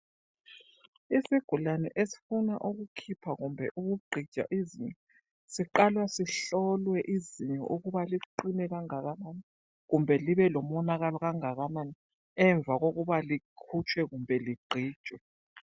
Isigulane esifuna ukukhipha kumbe ukugqitshwa izinyo, siqala sihlolwe izinyo ukuba liqine kangakanani kumbe libelomonakalo kangakanani emva kokuba likhutshwe kumbe ligqitshwe.